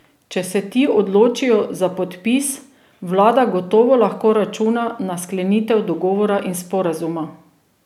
Če se ti odločijo za podpis, vlada gotovo lahko računa na sklenitev dogovora in sporazuma.